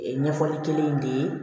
Ɲɛfɔli kelen de ye